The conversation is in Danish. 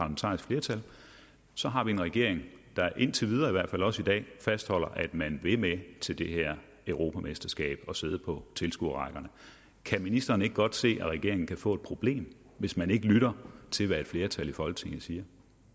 så har vi en regering der i indtil videre også i dag fastholder at man vil med til det her europamesterskab og sidde på tilskuerrækkerne kan ministeren ikke godt se at regeringen kan få et problem hvis man ikke lytter til hvad et flertal i folketinget siger